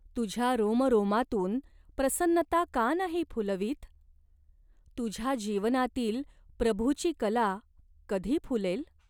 तुझ्या रोमरोमांतून प्रसन्नता का नाही फुलवीत ? तुझ्या जीवनातील प्रभूची कला कधी फुलेल ?